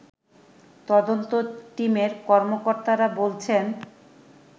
তদন্ত টিমের কর্মকর্তারা বলছেন